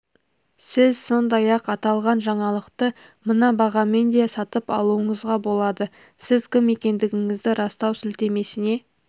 сіз сондай-ақ аталған жаңалықты мына бағамен де сатып алуыңызға болады сіз кім екендігіңізді растау сілтемесіне